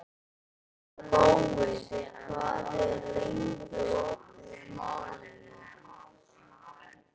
Gói, hvað er lengi opið í Málinu?